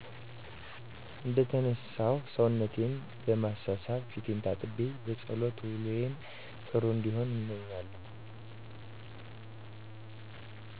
እንደተነሳሁ ሰውነቴን በማሳሳብ ፊቴን ታጥቤ በፀሎት ውሎየ ጥሩ እንዲሆን እምኛለሁ